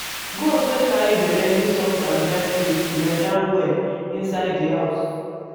goat wey carry belle need soft and dry place to lie down well inside di house.